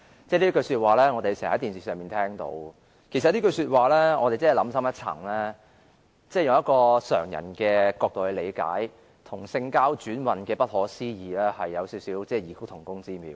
這句說話我們經常在電視上聽到，其實想深一層，以常人的角度來理解，這句說話與性交轉運之不可思議有異曲同工之妙。